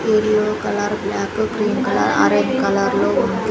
Yellow colour black green colour orange colour లో ఉంది.